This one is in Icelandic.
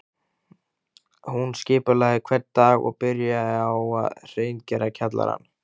Hún skipulagði hvern dag og byrjaði á að hreingera kjallarann